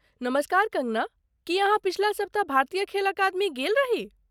नमस्कार कँगना, की अहाँ पछिला सप्ताह भारतीय खेल अकादमी गेल रही?